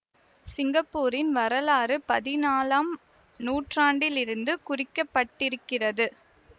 சிங்கப்பூரின் வரலாறு பதினாலாம் நூற்றாண்டிலிருந்து குறிக்கப்பட்டிருக்கிறது